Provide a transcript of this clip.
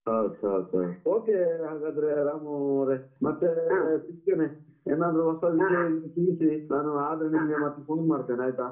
Okay, okay, okay, okay ಹಾಗಾದ್ರೆ ರಾಮು ಅವರೆ ಸಿಗ್ತೇನೆ, ಏನಾದ್ರು ಹೊಸ ವಿಷಯ ಇದ್ರೆ ತಿಳಿಸಿ ನಾನು ಆದ್ರೆ ನಿಮ್ಗೆ ಮತ್ತೆ phone ಮಾಡ್ತೇನೆ ಆಯ್ತಾ